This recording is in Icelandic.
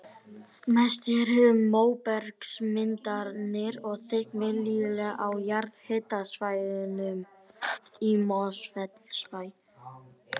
Mest er um móbergsmyndanir og þykk millilög á jarðhitasvæðunum í Mosfellsbæ.